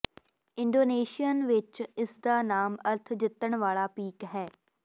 Indonesian ਵਿਚ ਇਸਦਾ ਨਾਮ ਅਰਥ ਜਿੱਤਣ ਵਾਲਾ ਪੀਕ ਹੈ